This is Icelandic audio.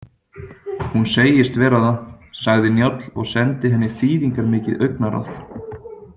Hún segist vera það, sagði Njáll og sendi henni þýðingarmikið augnaráð.